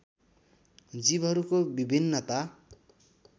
जीवहरूको विभिन्नता